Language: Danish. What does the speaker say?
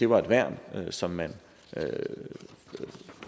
var et værn som man